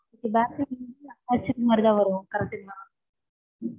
இது correct ங்களா